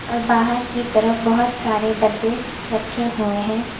और बाहर की तरफ बहोत सारे डब्बे रखे हुए हैं।